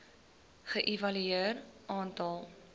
ge evalueer aantal